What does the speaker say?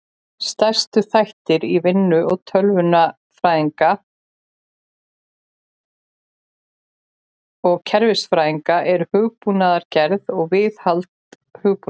Stærstu þættir í vinnu tölvunarfræðinga og kerfisfræðinga eru hugbúnaðargerð og viðhald hugbúnaðar.